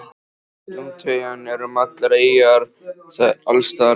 Dúntekjan er um allar eyjar, það er alls staðar varp.